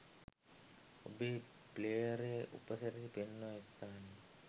ඔබේ ප්ලේයරයේ උපසිරැසි පෙන්වන ස්ථානය